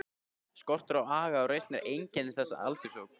Skortur á aga og reisn er einkenni þessa aldurshóps.